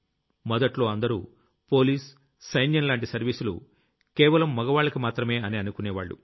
మొదట్లో అందరూ పోలీస్ సైన్యం లాంటి సర్వీసులు కేవలం మగవాళ్లకి మాత్రమే అని అనుకునేవాళ్లు